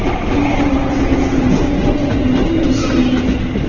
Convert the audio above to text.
Xalqaro kosmik stansiyada hojatxona qanday ishlaydi?